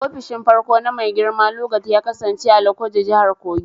Ofishin farko na Mai girma Lugard ya kasance a Lokoja, Jihar Kogi.